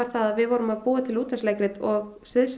að við vorum að búa til útvarpsleikrit og